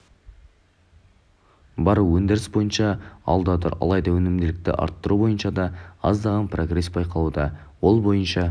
бар өндіріс бойынша алда тұр алайда өнімділікті арттыру бойынша да аздаған прогресс байқалуда ол бойынша